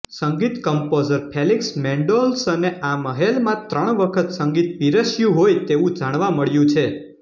સંગીત composer Felix મેન્ડેલ્સોહને આ મહેલમાં ત્રણ વખત સંગીત પીરસ્યું હોય તેવું જાણવા મળ્યું છે